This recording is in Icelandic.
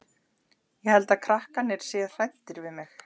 Ég held að krakkarnir séu hræddir við mig.